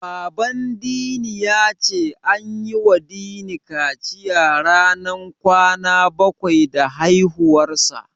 Baban Dini ya ce an yiwa Dini kaciya ranar kwana bakwai da haihuwarsa.